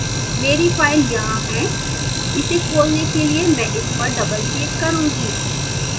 here file यहाँ है इसे खोलने के लिए मैं इस पर doubleclick करूँगा